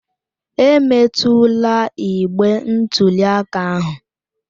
Emetụla igbe ntụli aka ahụ!